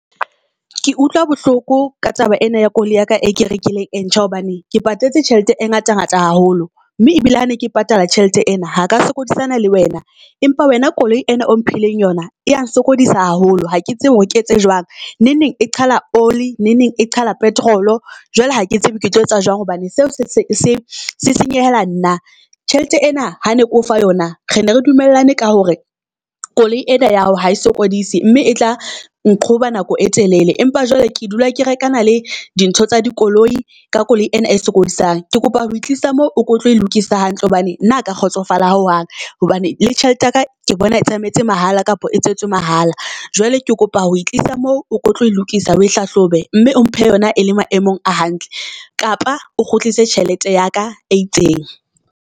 Ke utlwa bohloko ka taba ena ya koloi ya ka, e ke rekileng e ntjha hobane ke patetse tjhelete e ngata ngata haholo mme ebile ha ne ke patala tjhelete ena ha ka sokodisana le wena. Empa wena koloi ena o mphileng yona e ya nsokodisa haholo ha ke tsebe hore ke etse jwang, neng neng e qhala oli neng neng e qhala petrol. Jwale ha ke tsebe ke tlo etsa jwang hobane seo se senyehela nna. Tjhelete ena ha ne ke o fa yona re ne re dumellane ka hore koloi ena ya hao ha e sokodise mme e tla nqhoba nako e telele. Empa jwale ke dula ke reka na le di ntho tsa dikoloi ka koloi ena e sokodisang. Ke kopa ho tlisa mo o ko tlo e lokisa hantle hobane nna ka kgotsofala ho hang hobane le tjhelete yaka ke bona e tsamaetse mahala kapa e tswetse mahala. Jwale ke kopa ho tlisa mo, o tlo e lokisa oe hlahlobe mme o mphe yona e le maemong a hantle. Kapa o kgutlise tjhelete ya ka e itseng.